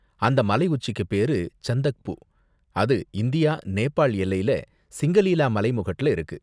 அந்த மலை உச்சிக்கு பேரு சந்தக்பூ, அது இந்தியா நேபால் எல்லையில சிங்கலீலா மலைமுகட்டுல இருக்கு.